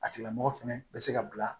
A tigila mɔgɔ fɛnɛ bɛ se ka bila